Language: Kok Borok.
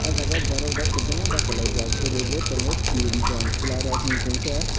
o jaga borok rok kobangma bachalai jak borui bo tango tin jon chela rok hingka khe.